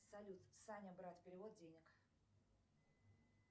салют саня брат перевод денег